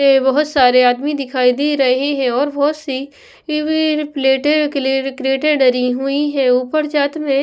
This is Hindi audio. बहुत सारे आदमी दिखाई दे रहे हैं और बहुत सी टी_वी प्लेटें क्रेटें डरी हुई है ऊपर जात में--